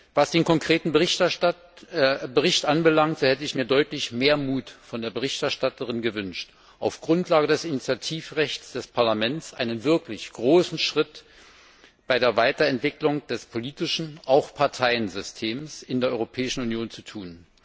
Was den konkreten Bericht anbelangt, so hätte ich mir deutlich mehr Mut von der Berichterstatterin gewünscht, auf Grundlage des Initiativrechts des Parlaments einen wirklich großen Schritt bei der Weiterentwicklung des politischen Systems und auch des Parteiensystems in der Europäischen Union zu tun.